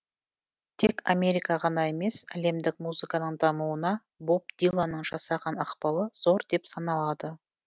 тек америка ғана емес әлемдік музыканың дамуына боб диланның жасаған ықпалы зор деп саналады